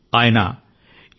ఆయన ఎన్